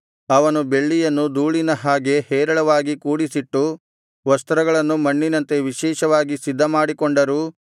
ಅವನು ಬೆಳ್ಳಿಯನ್ನು ಧೂಳಿನ ಹಾಗೆ ಹೇರಳವಾಗಿ ಕೂಡಿಸಿಟ್ಟು ವಸ್ತ್ರಗಳನ್ನು ಮಣ್ಣಿನಂತೆ ವಿಶೇಷವಾಗಿ ಸಿದ್ಧಮಾಡಿಕೊಂಡರೂ